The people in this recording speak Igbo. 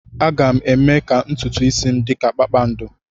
Aga m eme ka ntutu isi m dị ka kpakpando.